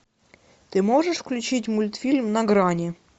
ты можешь включить мультфильм на грани